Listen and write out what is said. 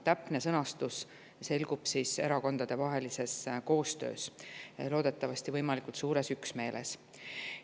Täpne sõnastus selgub erakondade koostöös, loodetavasti võimalikult suures üksmeeles.